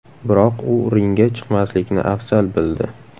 Biroq u ringga chiqmaslikni afzal bildi.